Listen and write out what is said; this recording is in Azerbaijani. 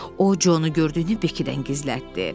O Conun gördüyünü Bekkidən gizlətdi.